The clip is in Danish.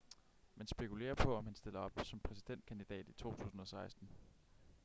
man spekulerer på om han stiller op som præsidentkandidat i 2016